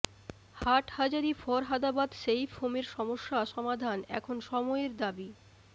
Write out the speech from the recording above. Hathazari Farhadabad safe হোমের সমস্যা সমাধান এখন সময়ের দাবি